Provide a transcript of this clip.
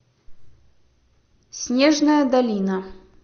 снежная долина